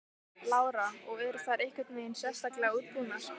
Lára: Og eru þær einhvern veginn sérstaklega útbúnar?